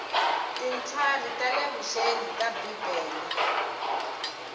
tintlhari ta le vuxeni ta bibele